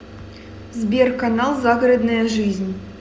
сбер канал загородная жизнь